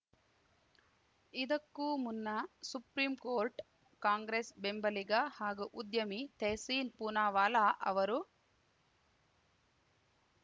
ಇದಕ್ಕೂ ಮುನ್ನ supreme court Congress ಬೆಂಬಲಿಗ ಹಾಗೂ ಉದ್ಯಮಿ ತೆಹ್ಸೀನ್ ಪೂನಾವಾಲಾ ಅವರು